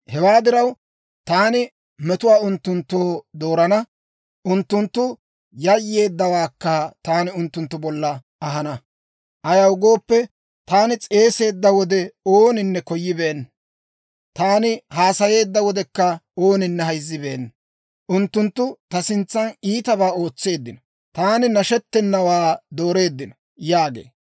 Hewaa diraw, taani metuwaa unttunttoo doorana; unttunttu yayyeeddawaakka taani unttunttu bollan ahana. Ayaw gooppe, taani s'eeseedda wode, ooninne koyibeenna; taani haasayeedda wodekka ooninne hayzzibeenna. Unttunttu ta sintsan iitabaa ootseeddino; taani nashettenawaa doreeddino» yaagee.